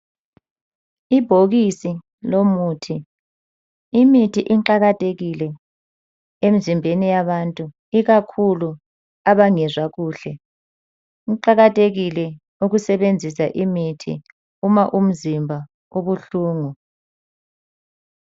Ibhokisi lomuthi. Imithi iqakathekile emizimbeni yabantu ikakhulu abangezwa kuhle. Kuqakathekile ukusebenzisa imithi uma umzimba ubuhlungu.